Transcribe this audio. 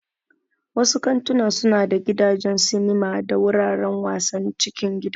Wasu kantuna suna da gidajen sinima da wuraren wasan cikin gida.